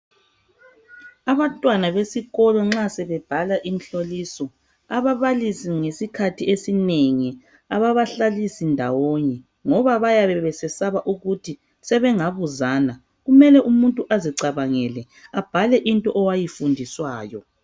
Abantwana besikolo nxa sebebhala imihloliso, ababalisi ngesikhathi esinengi ababahlalisi ndawonye ngoba bayabe besesaba ukuthi sebengabuzana. Kumele umuntu azicabangele abhale into owayifundiswayo.